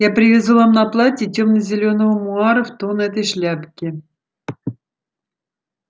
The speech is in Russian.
я привезу вам на платье тёмно-зеленого муара в тон этой шляпке